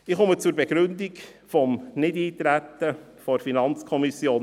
Ich komme zur Begründung des Nichteintretens der FiKo.